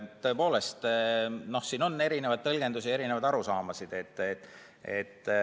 Tõepoolest, siin on erinevaid tõlgendusi ja erinevaid arusaamasid.